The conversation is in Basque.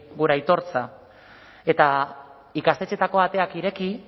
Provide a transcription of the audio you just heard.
gure aitortza eta ikastetxeetako ateak ireki